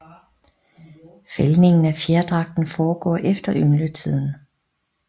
Fældningen af fjerdragten foregår efter yngletiden